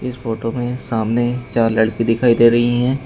इस फोटो में सामने चार लड़की दिखाई दे रही हैं।